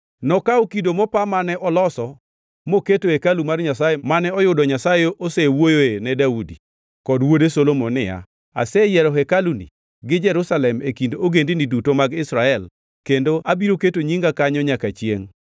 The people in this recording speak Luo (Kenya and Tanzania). Nokawo kido mopa mane oloso moketo e hekalu mar Nyasaye mane oyudo Nyasaye osewuoyoe ne Daudi kod wuode Solomon niya, “Aseyiero hekaluni gi Jerusalem e kind ogendini duto mag Israel, kendo abiro keto Nyinga kanyo nyaka chiengʼ.